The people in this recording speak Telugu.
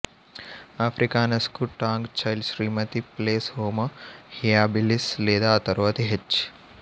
ఆఫ్రికానస్ కు టాంగ్ చైల్డ్ శ్రీమతి ప్లెస్ హోమో హ్యాబిలిస్ లేదా ఆ తరువాతి హెచ్